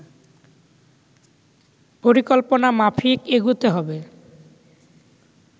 পরিকল্পনা মাফিক এগুতে হবে